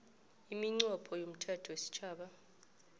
iminqopho yomthetho wesitjhaba